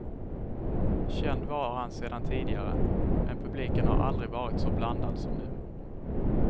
Känd var han sedan tidigare, men publiken har aldrig varit så blandad som nu.